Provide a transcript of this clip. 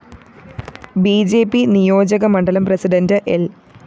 B J P നിയോജകമണ്ഡലം president ൽ